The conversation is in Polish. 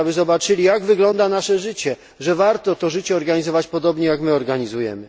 Chcemy, aby zobaczyli jak wygląda nasze życie, że warto to życie organizować podobnie jak my je organizujemy.